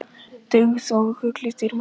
Dyggð er gulli dýrmætari.